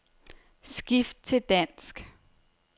Skift til dansk.